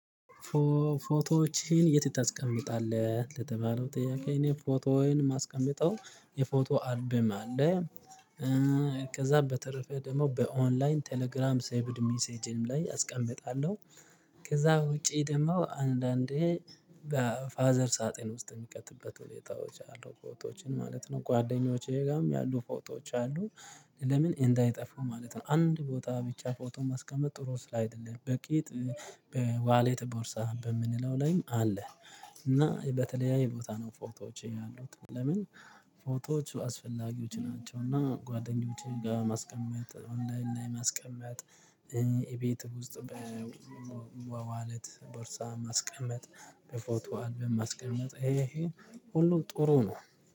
ፎቶዎችህን የት ታስቀምጣለህ? ለተባለው ጥያቄ እኔ ፎቶውን የማስቀምጠው የፎቶ አልበም አለ ከዛ በተረፈ ደግሞ በኦንላይን ቴሌግራም ሰቭድ ሜሴጅም ላይ አስቀምጣለሁ፣ ከዛ ውጪ ደግሞ አንዳንዴ በፋዘር ሳጥን ውስጥ የሚቀጥበት ሁኔታዎች አሉ ፎቶዎችን ማለት ነው ጓደኞቼ ጋርም ያሉ ፎቶዎች አሉ ለምን እንዳይጠፉ ማለት ነው፣ አንድ ቦታ ብቻ ፎቶ ማስቀመጥ ጥሩ ስላይደለም በቂ በዋሌት ቦርሳ በምንለው ላይም አለ፣ እና በተለያዩ ቦታ ነው ፎቶዎቼ ያሉት ለምን ፎቶዎቹ አስፈላጊዎች ናቸውና ጓደኞቼ ጋር ማስቀመጥ፣ ኦንላይን ማስቀመጥ ቤት ውስጥ በዋሌት ቦርሳ ማስቀመጥ፣ በፎቶ አልብም ማስቀመጥ ይሄ ሁሉም ጥሩ ነው።